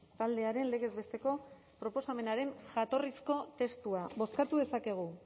taldearen legez besteko proposamenaren jatorrizko testua bozkatu dezakegu